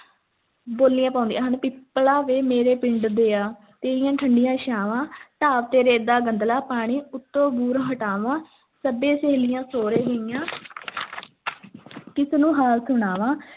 ਬੋਲੀਆਂ ਪਾਉਂਦੀਆਂ ਹਨ, ਪਿੱਪਲਾ ਵੇ ਮੇਰੇ ਪਿੰਡ ਦਿਆ, ਤੇਰੀਆਂ ਠੰਢੀਆਂ ਛਾਂਵਾਂ ਢਾਬ ਤੇਰੇ ਦਾ ਗੰਧਲਾ ਪਾਣੀ, ਉੱਤੋਂ ਬੂਰ ਹਟਾਵਾਂ, ਸੱਭੇ ਸਹੇਲੀਆਂ ਸਹੁਰੇ ਗਈਆਂ ਕਿਸ ਨੂੰ ਹਾਲ ਸੁਣਾਵਾਂ।